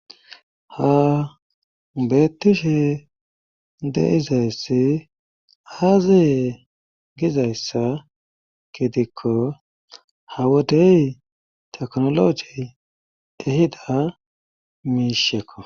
ha beettishe de izayssi haaziye gizayssa gidikko ha wodey teknologiy ehida miishekko